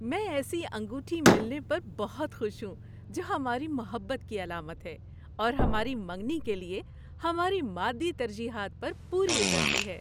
میں ایسی انگوٹھی ملنے پر بہت خوش ہوں جو ہماری محبت کی علامت ہے اور ہماری منگنی کے لیے ہماری مادی ترجیحات پر پوری اترتی ہے۔